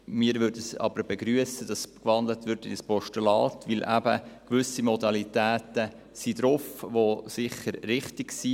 Wir würden es aber begrüssen, wenn in ein Postulat gewandelt würde, weil eben gewisse Modalitäten enthalten sind, die sicher richtig sind.